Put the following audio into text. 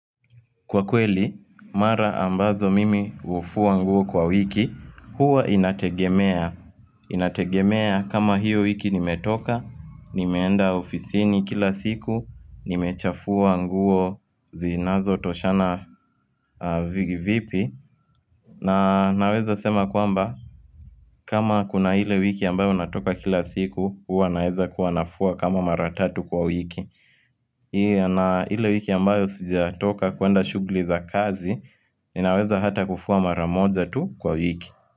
Kwa kweli, mara ambazo mimi hufua nguo kwa wiki, huwa inategemea, inategemea kama hiyo wiki nimetoka, nimeenda ofisini kila siku, nimechafua nguo zinazo toshana vigi vipi na naweza sema kwamba, kama kuna hile wiki ambayo natoka kila siku, huwa naeza kuwanafua kama maratatu kwa wiki ile wiki ambayo sija toka kuenda shugli za kazi Ninaweza hata kufuwa maramoja tu kwa wiki.